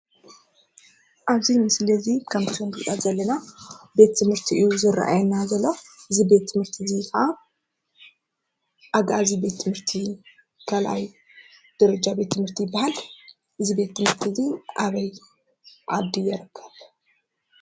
ኣብዚ ምስሊ 'ዚ ከምቲ ንሪኦ ዘለና ቤት ትምህርቲ እዩ ዝርአየና ዘሎ ። እዚ ቤት ትምህርቲ እዚ ኸዓ ኣግኣዚ ቤት ትምህርቲ ካልኣይ ደረጃ ቤት ትምህርቲ ይበሃል። እዚ ቤት ትምህርቲ 'ዚ ኣበይ ዓዲ ይርከብ ?